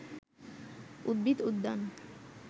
উদ্ভিদ উদ্যান